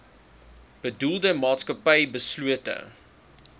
bedoelde maatskappy beslote